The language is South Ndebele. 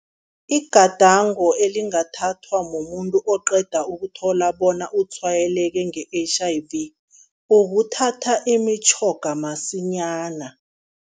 Igadango elingathathwa mumuntu oqeda ukuthola bona utshwayeleke nge-H_I_V, ukuthatha imitjhoga masinyana.